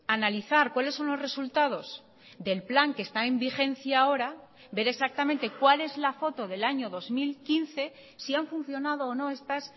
analizar cuáles son los resultados del plan que está en vigencia ahora ver exactamente cuál es la foto del año dos mil quince si han funcionado o no estas